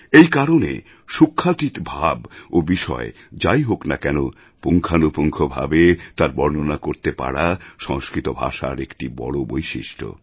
এই কারণে সূক্ষ্মাতীত ভাব ও বিষয় যাই হোক না কেন পুঙ্খানুপুঙ্খভাবে তার বর্ণনা করতে পারা সংস্কৃত ভাষার একটি বড় বৈশিষ্ট্য